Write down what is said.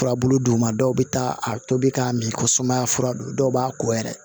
Furabulu d'u ma dɔw bɛ taa a tobi k'a min ko sumaya fura don dɔw b'a ko yɛrɛ